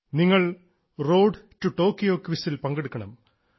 നിങ്ങൾ road to Tokyo ക്വിസിൽ പങ്കെടുക്കണം